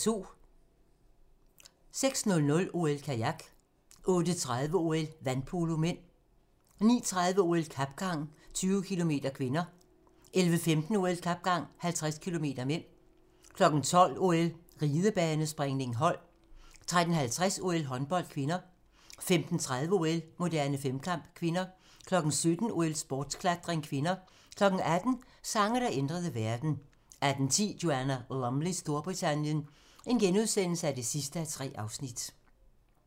06:00: OL: Kajak 08:30: OL: Vandpolo (m) 09:30: OL: Kapgang, 20 km (k) 11:15: OL: Kapgang, 50 km (m) 12:00: OL: Ridebanespringning, hold 13:50: OL: Håndbold (k) 15:30: OL: Moderne femkamp (k) 17:00: OL: Sportsklatring (k) 18:00: Sange, der ændrede verden 18:10: Joanna Lumleys Storbritannien (3:3)*